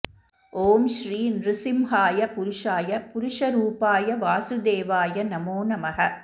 ॐ श्री नृसिंहाय पुरुषाय पुरुषरूपाय वासुदेवाय नमो नमः